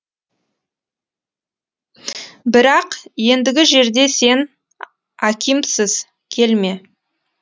бірақ ендігі жерде сен акимсыз келме